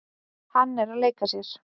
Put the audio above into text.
Hann er að leika sér.